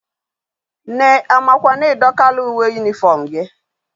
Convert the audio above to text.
Nne amakwa na i dokala uwe uniform gi?